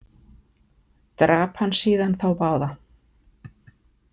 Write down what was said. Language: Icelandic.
Drap hann síðan þá báða.